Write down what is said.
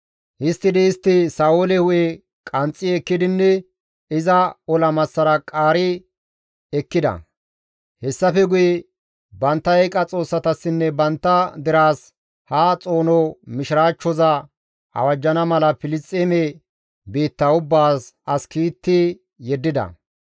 Histtidi istti Sa7oole hu7e qanxxi ekkidinne iza ola massara qaari ekkida; hessafe guye bantta eeqa xoossatassinne bantta deraas ha xoono mishiraachchoza awajjana mala Filisxeeme biitta ubbaas as kiitti yeddida.